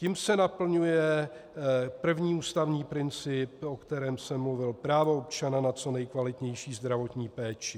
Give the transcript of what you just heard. Tím se naplňuje první ústavní princip, o kterém jsem mluvil, právo občana na co nejkvalitnější zdravotní péči.